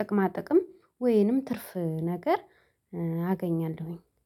ጥቅማ ጥቅም ወይንም ትርፍ ነገር አገኛለሁኝ